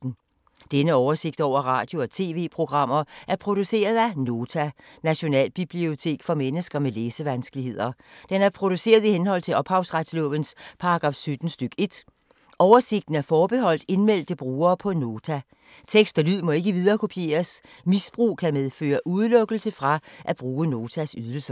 Denne oversigt over radio og TV-programmer er produceret af Nota, Nationalbibliotek for mennesker med læsevanskeligheder. Den er produceret i henhold til ophavsretslovens paragraf 17 stk. 1. Oversigten er forbeholdt indmeldte brugere på Nota. Tekst og lyd må ikke viderekopieres. Misbrug kan medføre udelukkelse fra at bruge Notas ydelser.